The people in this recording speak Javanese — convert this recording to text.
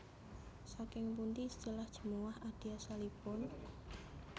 Saking pundi istilah Jemuwah Adi asalipun